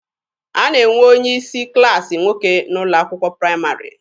A na-enwe onye isi klaasị nwoke n'ụlọ akwụkwọ praịmarị.